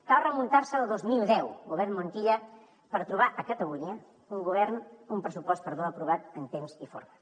cal remuntar se al dos mil deu govern montilla per trobar a catalunya un pressupost aprovat en temps i forma